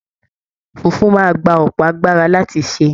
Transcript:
Fufu máa gbà ọpọ agbára láti ṣe.